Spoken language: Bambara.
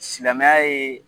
Silamɛya ye